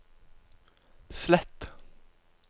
slett